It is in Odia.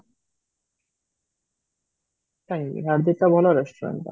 କାହିଁକି ହାର୍ଦିକ ତ ଭଲ restaurant ଟା